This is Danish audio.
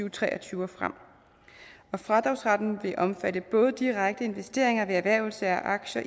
og tre og tyve og frem fradragsretten vil omfatte både direkte investeringer ved erhvervelse af aktier